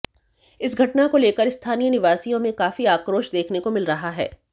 इस घटना को लेकर स्थानीय निवासियों में काफी आक्रोश देखने को मिल रहा है